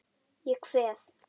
Ég kveð.